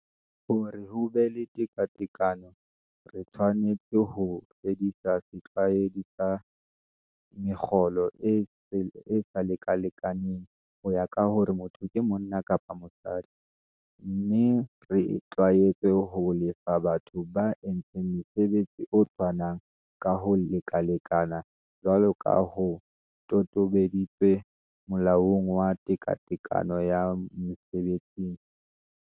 Hore ho be le tekatekano re tshwanetse ho fedisa setlwaedi sa mekgolo e e sa lekalekaneng ho ya ka hore motho ke monna kapa mosadi, mme re itlwaetse ho lefa batho ba entseng mosebetsi o tshwanang ka ho lekalekana jwalo ka ho totobaditswe Molaong wa Tekatekano ya Mese betsing.